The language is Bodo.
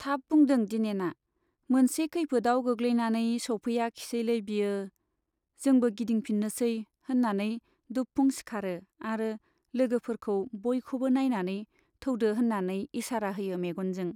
थाब बुदों दिनेना, मोनसे खैफोदआव गोग्लैनानै सौफैयाखिसैलै बियो, जोंबो गिदिंफिन्नोसै, होन्नानै दुबफुं सिखारो आरो लोगोफोरखौ बयखौबो नाइनानै थौदो होन्नानै इसारा होयो मेग'नजों।